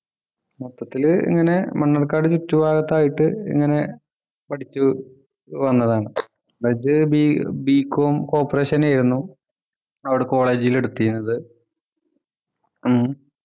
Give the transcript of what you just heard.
മൊത്തത്തിൽ ഇങ്ങനെ മണ്ണാർക്കാട് ചുറ്റുഭാഗത്തായിട്ട് ഇങ്ങനെ പഠിച്ചു വന്നതാണ് മറ്റു ബി b. comcorporation ആയിരുന്നു അവിടെ college ൽ എടുത്തിരുന്നത് ഉം